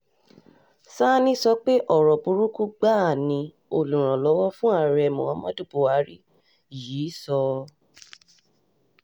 sanni sọ pé ọ̀rọ̀ burúkú gbáà ni olùrànlọ́wọ́ fún ààrẹ muhammadu buhari yìí sọ